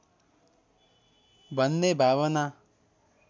भन्ने भावना